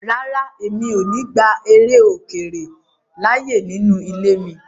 Rárá, mi ò ní gba eré ilè-òkèrè láyè nínú ilé mi.